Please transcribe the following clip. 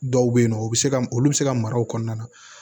Dɔw bɛ yen nɔ u bɛ se ka olu bɛ se ka mara o kɔnɔna na